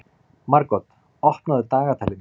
Margot, opnaðu dagatalið mitt.